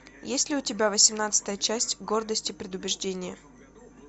есть ли у тебя восемнадцатая часть гордость и предубеждение